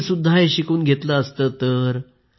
मी सुद्धा हे शिकून घेतलं असतं तर